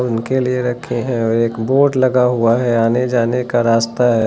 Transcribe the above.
उनके लिए रखे हैं और एक बोर्ड लगा हुआ है आने जाने का रास्ता है।